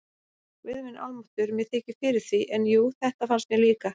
Guð minn almáttugur, mér þykir fyrir því, en jú, þetta fannst mér líka